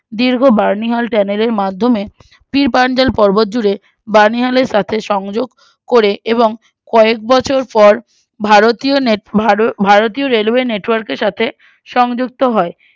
দীর্ঘ বামিহাল channel এর মাধ্যমে পীর পাঞ্জাল পর্ব্বত জুড়ে বামিহালের সঙ্গে সংযোক করে এবং কয়েক বছর পর ভারতীয় net ভার ভারতীয় network এর সংজুক্ত হয়